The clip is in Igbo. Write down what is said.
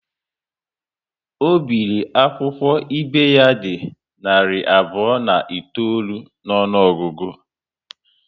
Ọ biri akwụkwọ ibe ya dị narị abụọ na itoolu n'ọnụogugu